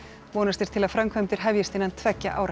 vonast er til að framkvæmdir hefjist innan tveggja ára